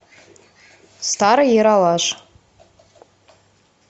старый ералаш